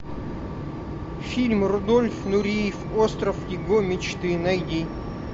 фильм рудольф нуреев остров его мечты найди